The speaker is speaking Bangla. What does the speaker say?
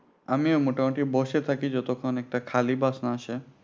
আমিও মোটামুটি বসে থাকি যতক্ষণ একটা খালি bus না আসে